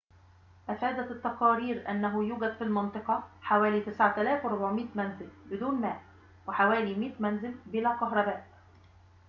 أفادت التقارير أنه يوجد في المنطقة حوالي 9400 منزل بدون ماء وحوالي 100 منزل بلا كهرباء